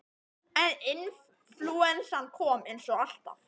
En inflúensan kom, eins og alltaf.